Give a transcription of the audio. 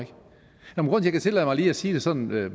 ikke tillade mig lige at sige det sådan med